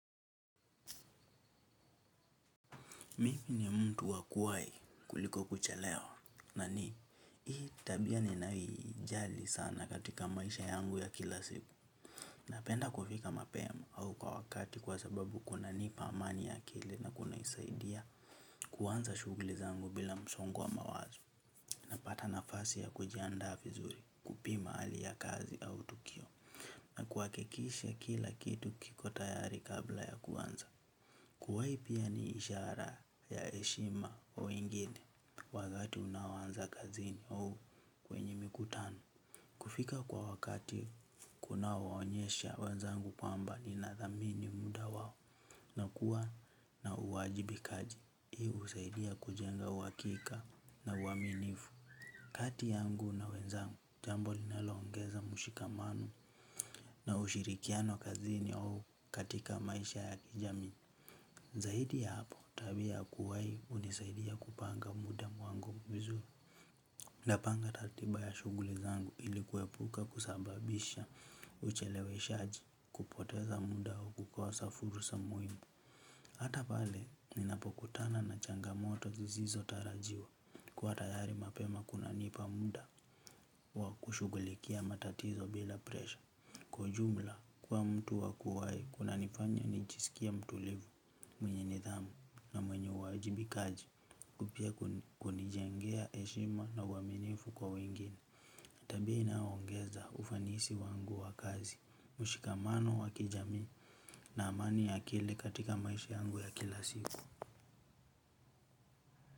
Mimi ni mtu wa kuwai kuliko kuchelewa, na ni, hii tabia ninaijali sana katika maisha yangu ya kila siku. Napenda kufika mapema au kwa wakati kwa sababu kunanipa amani ya kile na kunusaidia kuanza shugli zangu bila msongo wa mawazo. Napata nafasi ya kujianda vizuri kupima hali ya kazi au tukio na kuhakikisha kila kitu kiko tayari kabla ya kuwanza. Kuwai pia ni ishara ya eshima kwa wengine wakati unaoanza kazini au kwenye mikutano. Kufika kwa wakati kunawaonyesha wenzangu kwamba ninathamini muda wao na kuwa na uwajibikaji. Hii husaidia kujenga uhakika na uaminifu. Kati yangu na wenzangu jambo linaloongeza mshikamano na ushirikiano kazini au katika maisha ya kijami. Zaidi ya hapo tabia kuwai unisaidia kupanga muda wangu vizuri. Napanga tatiba ya shuguli zangu ili kuepuka kusababisha ucheleweshaji kupoteza muda wa kukosa fursa muimu. Hata pale ninapokutana na changamoto zizizotarajiwa kuwa tayari mapema kunanipa muda wa kushugulikia matatizo bila presha. Kwa ujumla, kuwa mtu wa kuwai, kunanifanya nijisikie mtulivu mwenye nithamu na mwenye uwajibikaji kupia kunijengea eshima na uaminifu kwa wengine. Tabia inaongeza ufanisi wangu wa kazi, mshikamano wa kijami na amani ya akili katika maisha yangu ya kila siku.